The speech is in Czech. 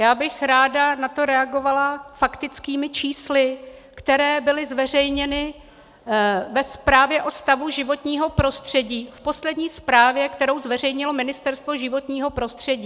Já bych ráda na to reagovala faktickými čísly, která byla zveřejněna ve zprávě o stavu životního prostředí, v poslední zprávě, kterou zveřejnilo Ministerstvo životního prostředí.